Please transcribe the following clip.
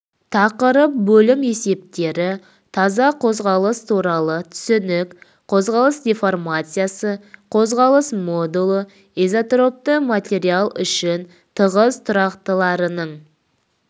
тақырып бөлім есептері таза қозғалыс туралы түсінік қозғалыс деформациясы қозғалыс модулі изотропты материал үшін тығыз тұрақтыларының